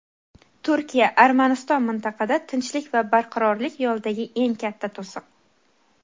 Turkiya: "Armaniston mintaqada tinchlik va barqarorlik yo‘lidagi eng katta to‘siq".